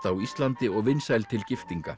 á Íslandi og vinsæl til giftinga